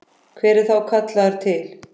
Hver er þá kallaður til?